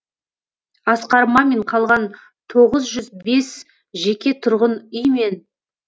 асқар мамин қалған тоғыз жүз бес жеке тұрғын үй мен